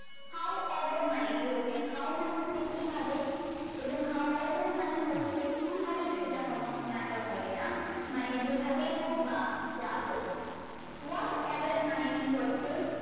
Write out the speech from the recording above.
how above মানে কি হচ্ছে how মানে হচ্ছে কি ভাবে এবং how above এর মানে হচ্ছে কিভাবে সেটা কোনো matter করে না মানে যে ভাবেই হোক বা যা হোক what ever এর মানে কি হচ্ছে